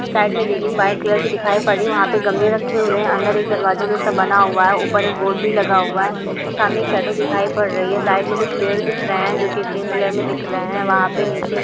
side में railing white colour की दिखाई पड़ रही है वहां पर गमले रखे हुए है अंदर एक दरवाजा जैसा बना हुआ है ऊपर एक बोर्ड भी लगा हुआ है सामने एक शैडो दिखाई पड़ रही है साइड में कुछ पेड़ दिख रहे है जो ग्रीन कलर में दिख रहे है वहां नीचे --